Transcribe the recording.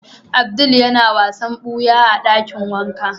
Abdul ya na wasan buya a dakin wanka.